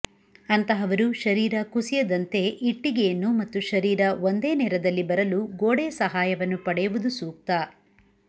ಅಂತಹವರು ಶರೀರ ಕುಸಿಯದಂತೆ ಇಟ್ಟಿಗೆಯನ್ನು ಮತ್ತು ಶರೀರ ಒಂದೇ ನೇರದಲ್ಲಿ ಬರಲು ಗೋಡೆಯ ಸಹಾಯವನ್ನು ಪಡೆಯುವುದು ಸೂಕ್ತ